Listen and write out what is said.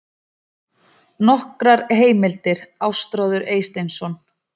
Nokkrar heimildir: Ástráður Eysteinsson.